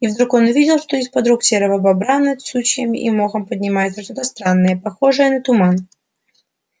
и вдруг он увидел что из под рук серого бобра над сучьями и мохом поднимается что то странное похожее на туман